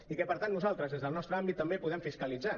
i que per tant nosaltres des del nostre àmbit també puguem fiscalitzar